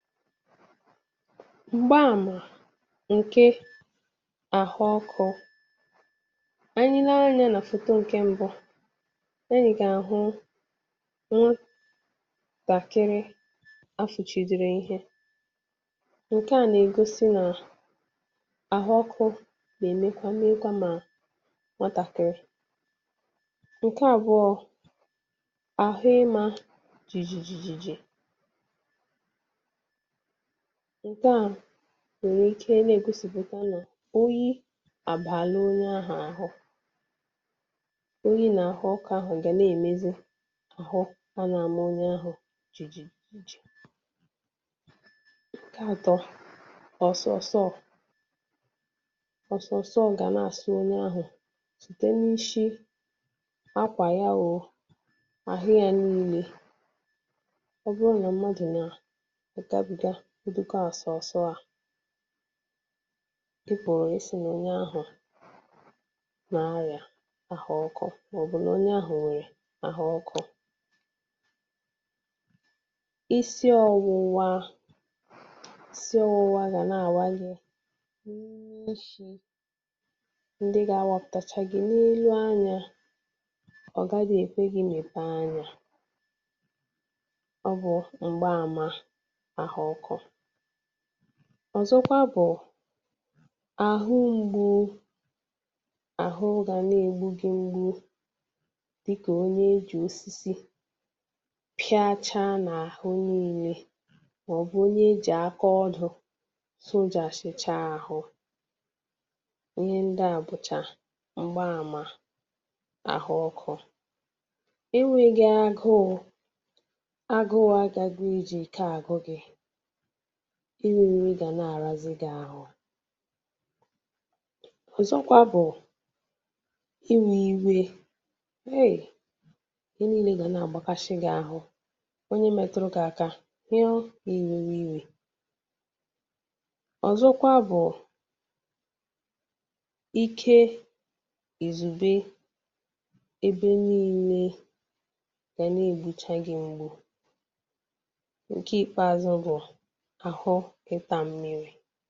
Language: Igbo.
m̀gbẹ àmà ǹke àhụ ọkụ̄ anyị lee anyā nà fòto ǹke mbụ anyị̀ gà àhụ nwatàkịrị a fùchìdìrì ihe ǹkẹ à nà ègosi nà àhụ ọkụ̄ nà èmekwa mekwa mà nwatàkịrị ǹkẹ abụọ àhụ ị mā jìjìjìjìjì ǹke à nwẹ̀rẹ̀ ike nà ègosìpùta nà oyi àbaala onye ahụ̀ àhụ oyi nà àhụ ọkụ̄ ahụ̀ gà nà èmezi àhụ a nà àma onye ahụ̀ ǹkẹ atọ ọ̀sọ̀sọ̀ ọ̀sọ̀sọ̀ gà nà àsọ onyē ahụ̀ site n’ishi akwà ya o àhụ yā nine ọ̀ bụrọ̄ nà mmadù nà àgabìga ụdịka ọ̀sọ̀sọ̀ à ị pụ̀ọ ị sī nà onye ahụ̀ nà arịà àhụ ọkụ̄ mà ọ̀ bụ̀ nà onye ahụ̀ nwèrè àhụ ọkụ̄ isi ọwụwa isi ọwụwa gà nà àwa gị ndị ga awapụ̀tacha gị n’elu anyā ọ̀ gaghị èkwe gị mèpe anyā ọ bụ̄ m̀gbamà ahụ ọkụ̄ ọ̀zọ kwa bụ̀ àhụ mgbu àhụ gà nà è gbu gị mgbu dịkà onye e jì osisi pịa cha nà àhụ nine mà ọ̀ bụ̀ onye e jì aka odō sojàshicha ahụ ihe ndị à bụchà m̀gbe àmà àhụ ọkụ̄ ị wige aguū aguū agaghị e jì ike àgụ gị ị rī nrị gà nà àrazị gị àhụ ọ̀zọkwa bụ̀ iwē iwe hèi ihe nine gà nà àgbakashị̄ gị̄ ahụ onye metụrụ gị aka ya ọ ị wewe iwē ọzọkwa bụ̀ ike ìzùbe ebe nine gà nà ègbucha gị mgbu ǹkẹ Ikpeazu bụ̀ àhụ ịtā mmiri